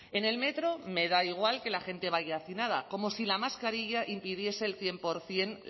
en el metro me da igual que la gente vaya hacinada como si la mascarilla impidiese el cien por ciento